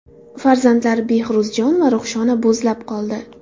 Farzandlari Behruzjon va Ruhshona bo‘zlab qoldi.